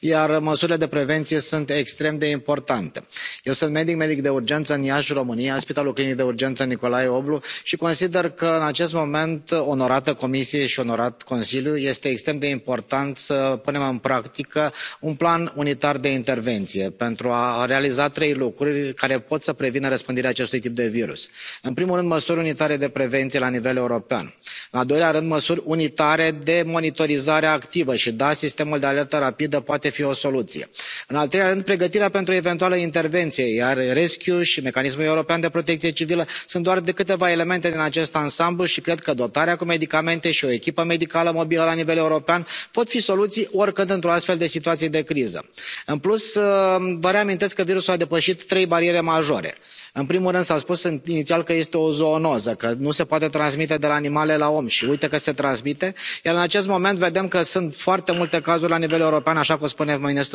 Domnule președinte, este oficial. Chiar dacă nu ne place, este oficial. Noul coronavirus amenință acum și Europa. Sunt decelate patru cazuri în Franța și patru în Germania, iar măsurile de prevenție sunt extrem de importante. Eu sunt medic, medic de urgență în Iași, România, la Spitalul Clinic de Urgență Nicolae Oblu și consider că, în acest moment, onorată Comisie și onorat Consiliu, este extrem de important să punem în practică un plan unitar de intervenție pentru a realiza trei lucruri care pot să prevină răspândirea acestui tip de virus. În primul rând, măsuri unitare de prevenție la nivel european. În al doilea rând, măsuri unitare de monitorizare activă și da, sistemul de alertă rapidă poate fi o soluție. În al treilea rând, pregătirea pentru o eventuală intervenție, iar RescEU și Mecanismul european de protecție civilă sunt doar câteva elemente din acest ansamblu și cred că dotarea cu medicamente și o echipă medicală mobilă la nivel european pot fi soluții oricând într o astfel de situație de criză. În plus, vă reamintesc că virusul a depășit trei bariere majore. În primul rând, s a spus inițial că este o zoonoză, că nu se poate transmite de la animale la om și uite că se transmite, iar în acest moment vedem că sunt foarte multe cazuri la nivel european, așa cum spunem